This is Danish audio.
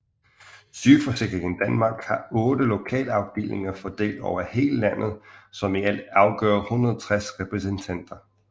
Sygeforsikringen danmark har 8 lokalafdelinger fordelt over hele landet som i alt udgør 160 repræsentanter